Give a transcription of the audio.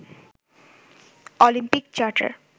Olympic charter